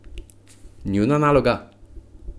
Njuna naloga?